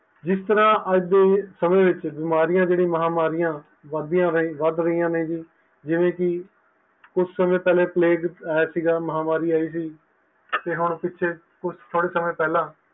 ਜਿਸ ਤਰਾਂ ਅੱਜ ਦੇ ਸਮੇ ਵਿੱਚ ਬਿਮਾਰੀਆਂ ਜਿਹੜੀਆਂ ਮਹਾਂਮਾਰੀਆਂ ਵਧਦੀਆਂ ਵੱਧ ਰਹੀਆਂ ਨੇ ਜੀ ਜਿਵੇ ਕਿ ਕੁਛ ਸਮੇ ਪਹਿਲਾ Plague ਆਇਆ ਸੀ ਮਹਾਮਾਰੀ ਆਈ ਸੀ ਤੇ ਪਿੱਛੇ ਹੁਣ ਕੁਛ ਸਮੇ ਪਹਿਲਾ